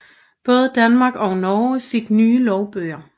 Både Danmark og Norge fik nye lovbøger